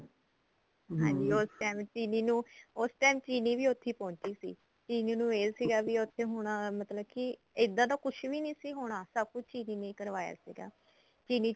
ਹਾਂਜੀ ਉਸ time ਚੀਲੀ ਨੂੰ ਉਸ time ਚਿਰੀ ਵੀ ਉੱਥੇ ਈ ਪਹੁੰਚੀ ਸੀ ਚੀਲੀ ਨੂੰ ਇਹ ਸੀਗਾ ਕੀ ਉੱਥੇ ਹੁਣ ਮਤਲਬ ਕੀ ਇੱਦਾਂ ਦਾ ਕੁੱਝ ਵੀ ਨੀ ਸੀ ਹੋਣਾ ਸਭ ਕੁੱਝ ਚਿਰੀ ਨੇ ਕਰਵਾਇਆ ਸੀਗਾ ਚੀਲੀ